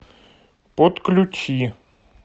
подключи